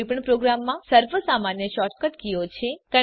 કોઈપણ પ્રોગ્રામમાં સર્વસામાન્ય શૉર્ટકટ કીઓ છે